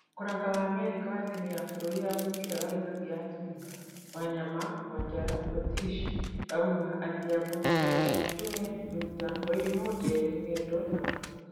Koranga wa Amerika wa timu ya bururi ya mubira wa gikabu ya atumia Wanyama, Wanjara, Rotish, Auma, Adhiambo, Brenda ,Njung'e, Nduta, Wairimũ, Njeri, Ng'endo na Wahu